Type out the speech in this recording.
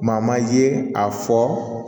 Maa maa ye a fɔ